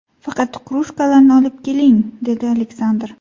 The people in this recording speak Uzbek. Faqat krujkalarni olib keling”, dedi Aleksandr.